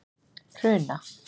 Hruna